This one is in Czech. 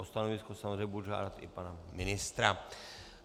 O stanovisko samozřejmě budu žádat i pana ministra.